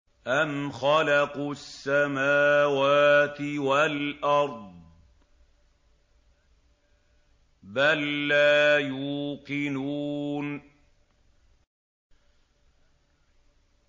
أَمْ خَلَقُوا السَّمَاوَاتِ وَالْأَرْضَ ۚ بَل لَّا يُوقِنُونَ